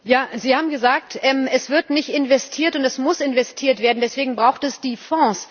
Sie haben gesagt Es wird nicht investiert und Es muss investiert werden deswegen braucht es die Fonds.